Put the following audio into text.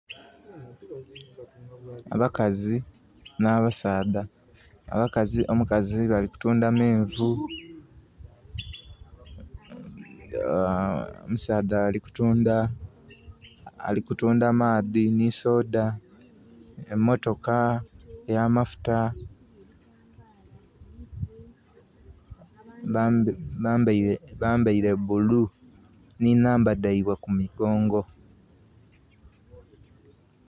Abakazi na basaadha. Abakazi balikutunda menvu omusaadha ali kutunda maadhi ni soda. Emotoka eya mafuta. Bambaire bulu ni namba daibwe ku migongo